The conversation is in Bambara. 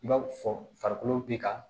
I b'a fɔ farikolo bɛ ka